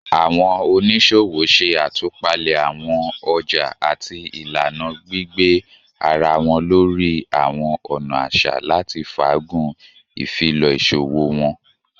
Awọn oniṣowo ṣe atupale awọn ọja ati ilana, gbigbe ara wọn lori awọn ọna aṣa lati faagun ifilọ iṣowo wọn